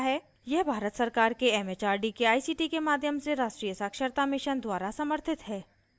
यह भारत सरकार के it it आर डी के आई सी टी के माध्यम से राष्ट्रीय साक्षरता mission द्वारा समर्थित है